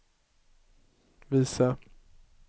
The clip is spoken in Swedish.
visa